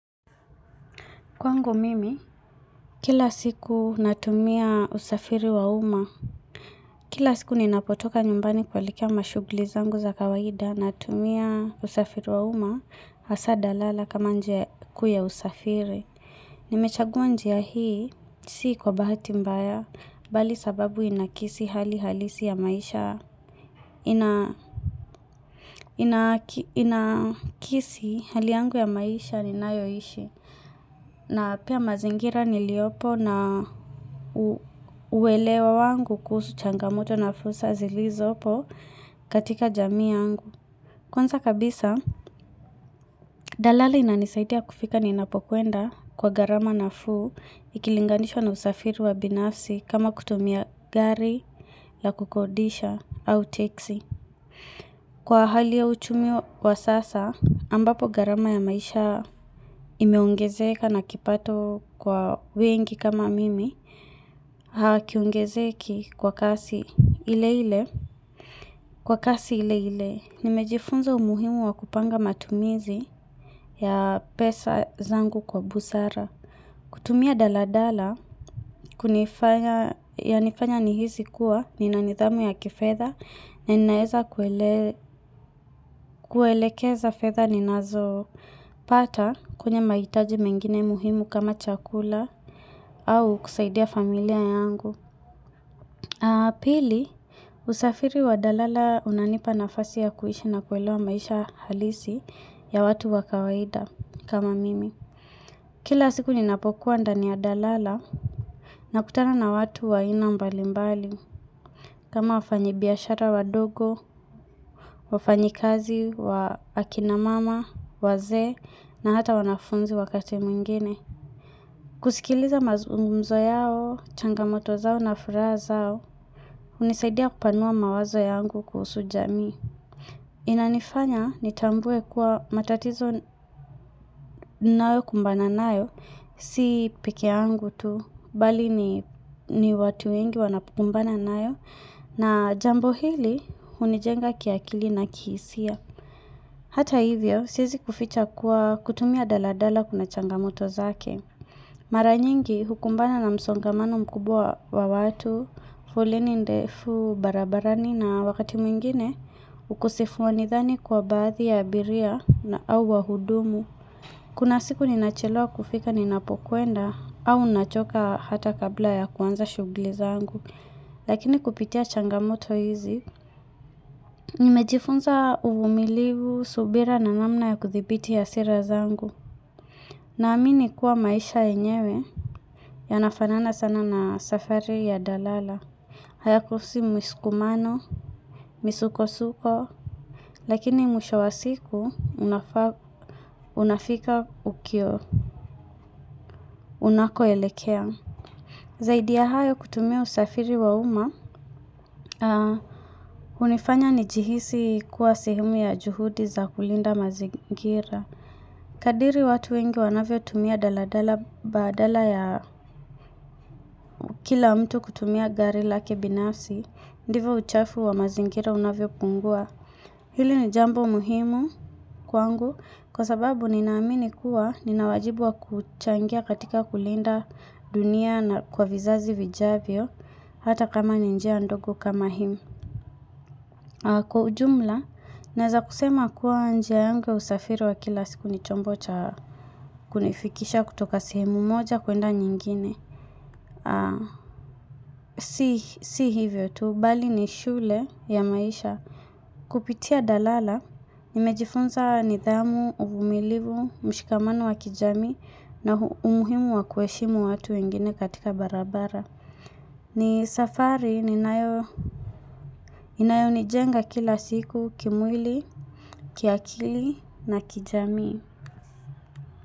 Kwangu mimi, kila siku natumia usafiri wa uma, kila siku ninapotoka nyumbani kuelikea mashuguli zangu za kawaida, natumia usafiri wa uma, asaa dalala kama njia kuu ya usafiri. Hhh Nimechagua njia hii, si kwa bahati mbaya, bali sababu inakisi hali halisi ya maisha, ina ina kisi hali yangu ya maisha ninayo ishi. Hhh na pia mazingira niliopo na u uwelewa wangu kuhusu changamoto na fulsa zilizopo katika jamii yangu. Kwanza kabisa, dalali inanisaidia kufika niinapokwenda kwa garama nafuu ikilinganishwa na usafiru wa binafsi kama kutumia gari, la kukodisha, au teksi. Hhh Kwa hali ya uchumi wa sasa, ambapo gharama ya maisha imeongezeka na kipato kwa wengi kama mimi, hakiongezeki kwa kasi ile ile. Hhh Kwa kasi ile ile, nimejifunza umuhimu wa kupanga matumizi ya pesa zangu kwa busara. Kutumia daladala kunifanya yanifanya nihisi kuwa ninanithamu ya kifetha mh hh ninaeza kuele kuelekeza fetha ni nazo pata kwenye maitaji mengine muhimu kama chakula mhh ah au kusaidia familia yangu. Mhh ahh Pili, usafiri wa dalala unanipa nafasi ya kuishi na kuelewa maisha halisi ya watu wakawaida kama mimi mhh Kila siku ni napokuwa ndani ya dalala na kutana na watu wa ina mbali mbali, kama wafanyi biashara wadogo, wafanyi kazi wa akina mama, wazee na hata wanafunzi wakati mwingine. Kusikiliza mazungumzo yao, changamoto zao na furaha zao, hunisaidia kupanua mawazo yangu kuhusu jamii. Mhh eh Inanifanya nitambue kuwa matatizo ninayo kumbana nayo, si peke yangu tu, bali ni watu wengi wanapambana nayo, na jambo hili hunijenga kiakili na kihisia. Hata hivyo, siezi kuficha kuwa kutumia daladala kuna changamoto zake. Mhh Maranyingi hukumbana na msongamanu mkubwa wa watu, folleni ndefu barabarani na wakati mwingine, ukosefu wa nithani kwa baadhi ya abiria au wahudumu. Kuna siku ni nachelewa kufika ninapokwenda, au nachoka hata kabla ya kuanza shugli zangu. Lakini kupitia changamoto hizi, Nimejifunza uvumilivu, subira na namna ya kuthibiti hasira zangu. Na amini kuwa maisha yenyewe yanafanana sana na safari ya dalala Hayakosi msukukumano, misukosuko.mhh Lakini mwisho wa siku unafa unafika ukio unako elekea mhh eh Zaidi ya hayo kutumia usafiri wa uma mhh ah unifanya ni jihisi kuwa sehemu ya juhudi za kulinda mazingira. Kadiri watu wengi wanavyo tumia daladala badala ya kila mtu kutumia gari lake binafsi, ndivyo uchafu wa mazingira unavyopungua. Hili ni jambo muhimu kwangu kwa sababu ninaamini kuwa ninawajibu wa kuchangia katika kulinda dunia na kwa vizazi vijavyo hata kama ninjia ndogo kama hii. Kwa ujumla, naeza kusema kuwa njia yangu ya usafiru wa kila siku ni chombo cha kunifikisha kutoka sihemu moja kwenda nyingine. Ahhmm Si hivyo tu, bali ni shule ya maisha. Mmh Kupitia dalala, nimejifunza nidhamu, uvumilivu, mshikamano wa kijami na hu umuhimu wa kuheshimu watu wengine katika barabara. Mm hh ni safari ninayo inayo nijenga kila siku kimwili, kiakili na kijami.